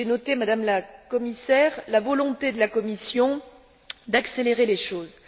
J'ai noté, Madame la Commissaire, la volonté de la Commission d'accélérer les choses.